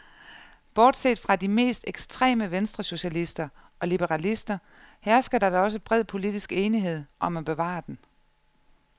Bortset fra de mest ekstreme venstresocialister og liberalister hersker der da også bred politisk enighed om at bevare den.